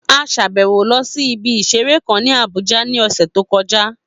A sàbẹ̀wo lọ sí ibi ìseré kan ní Abùjá ní ọ̀sẹ̀ tó kọjá